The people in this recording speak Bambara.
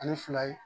Ani fila ye